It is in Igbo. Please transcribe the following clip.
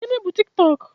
Gịnị bu Tiktọk?